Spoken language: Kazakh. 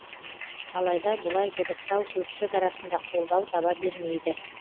алайда бұлай дыбыстау көпшілік арасында қолдау таба бермейді